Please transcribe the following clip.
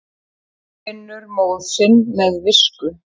Hygginn vinnur móð sinn með visku.